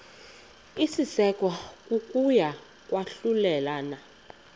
isekwa kokuya kwahlulelana